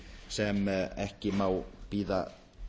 sem ekki má bíða